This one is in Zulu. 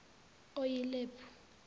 oyilepu